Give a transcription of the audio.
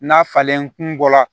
N'a falen kun bɔ la